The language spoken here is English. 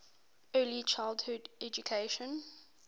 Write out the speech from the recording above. early childhood education